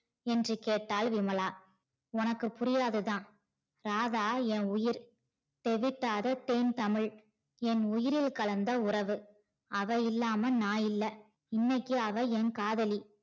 என்று கேட்டால் விமலா உனக்கு புரியாதுதா ராதா ஏ உயிர் தெகட்டாத தேன் தமிழ் என் உயிரில் கலந்த உறவு அவ இல்லாம நா இல்ல இன்னிக்கி அவ என் காதலி